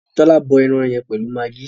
Tola bọ ẹran yẹn pẹlú Maggi.